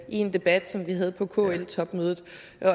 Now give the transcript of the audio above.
i en debat som vi havde på kl topmødet